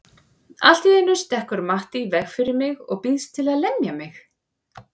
Allt í einu stekkur Matti í veg fyrir mig og býðst til að lemja mig.